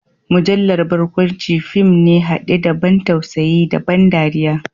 Mujallar barkwanci fim ne hade da ban tausayi da ban dariya.